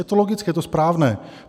Je to logické, je to správné.